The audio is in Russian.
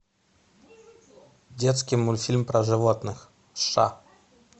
детский мультфильм про животных сша